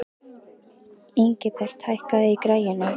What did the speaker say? Ingibert, hækkaðu í græjunum.